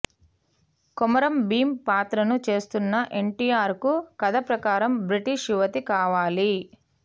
కొమరం భీమ్ పాత్రను చేస్తున్న ఎన్టీఆర్ కు కథ ప్రకారం బ్రిటిష్ యువతి కావాలి